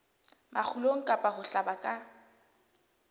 makgulong kapa ho hlaba ka